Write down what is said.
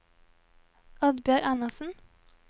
Oddbjørg Anderssen